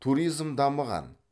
туризм дамыған